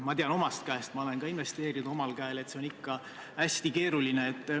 Ma tean omast käest – ma olen ka omal käel investeerinud –, et see on hästi keeruline.